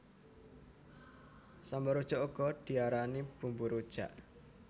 Sambel rujak uga diarani bumbu rujak